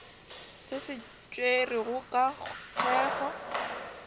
se se tšerwego ka thekgo